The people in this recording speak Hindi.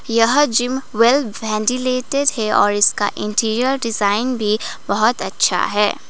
यह जिम वेल वेंटिलेटर है और इसका इंटीरियर डिजाइन भी बहुत अच्छा है।